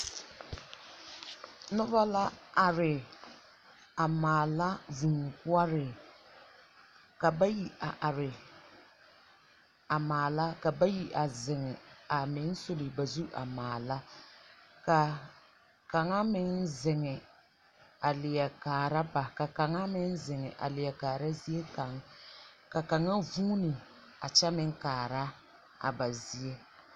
Noba la are a maala vūū poɔree. Ka bayi a are a maala, ka bayi a zeŋe a meŋ sul ba zur a meŋ maana. Ka kaŋa meŋ zeŋe a leɛ kaara ba. Ka kaŋa meŋ zeŋ a leɛ kaara zie kaŋ. Ka kaŋa vuune a kyɛ meŋ kaara a ba zie.